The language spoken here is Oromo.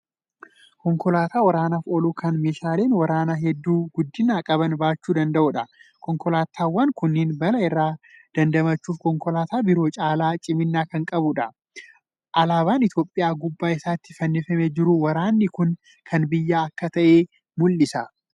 Konkolaataa waraanaaf oolu Kan meeshaaleen waraanaa hedduu guddina qaban baachuu danda'uudha. konkolaataawwan Kuni balaa irraa dandachuuf konkolaataa biroo caalaa cimina Kan qabuudha. olaabaan itoophiyaa gubbaa isaatti fannifamee jiru waraanni Kuni Kan biyyattii akka ta'e mul'isa.